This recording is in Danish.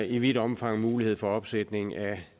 i vidt omfang er mulighed for opsætning af